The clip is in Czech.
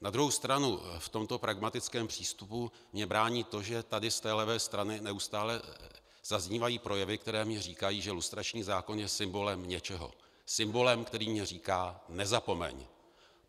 Na druhou stranu v tomto pragmatickém přístupu mi brání to, že tady z té levé strany neustále zaznívají projevy, které mi říkají, že lustrační zákon je symbolem něčeho - symbolem, který mi říká: nezapomeň!